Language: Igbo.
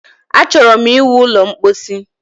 Achọrọ ịwu ụlọ ḿkpóchí